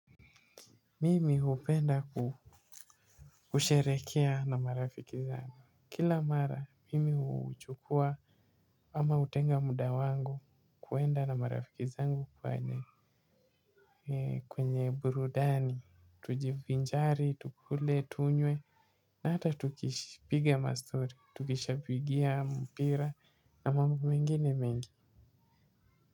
Mimi hupenda kusherehekea na marafiki zangu. Kila mara, mimi huchukua ama hutenga muda wangu kuenda na marafiki zangu kwa eneo. Kwenye burudani, tujivinjari, tukule, tunywe. Na hata tukipiga mastori, tukishabikia mpira na mambo mengine mengi.